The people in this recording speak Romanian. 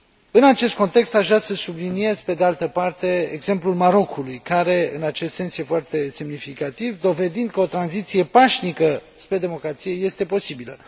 În acest context aș vrea să subliniez, pe de altă parte, exemplul Marocului, care, în acest sens, e foarte semnificativ, dovedind că o tranziție pașnică spre democrație este posibilă.